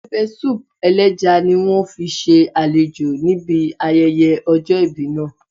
Pẹpẹsúùpù ẹlẹ́ja ni wọ́n fi ṣe àlejò níbi ayẹyẹ ọjọ́ ìbí náà